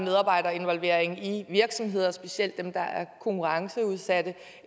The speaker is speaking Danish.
af medarbejderinvolvering i virksomheder specielt dem der er konkurrenceudsatte